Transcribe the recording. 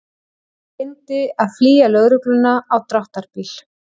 Reyndi að flýja lögregluna á dráttarbíl